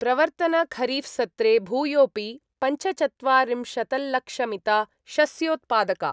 प्रवर्तनखरीफसत्रे भूयोपि पञ्चचत्वारिंशतल्लक्षमिता शस्योत्पादका